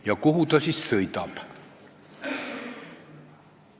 Ja kuhu ta siis sõidab?